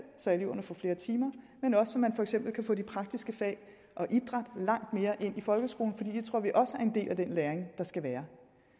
så eleverne får flere timer men også så man for eksempel kan få de praktiske fag og idræt langt mere ind i folkeskolen det tror vi også er en del af den læring der skal være